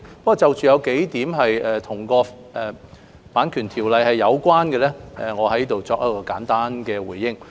不過，對於數項與《版權條例》有關的意見，我會在這裏作簡單回應。